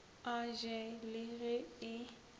a je le ge e